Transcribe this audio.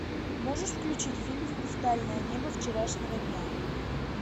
можешь включить фильм хрустальное небо вчерашнего дня